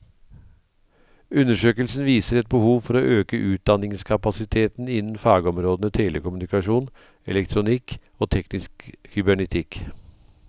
Undersøkelsen viser et behov for å øke utdanningskapasiteten innen fagområdene telekommunikasjon, elektronikk og teknisk kybernetikk.